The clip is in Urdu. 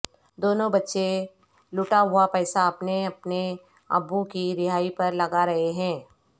دونوں بچے لوٹا ہوا پیسا اپنے اپنے ابو کی رہائی پر لگا رہے ہیں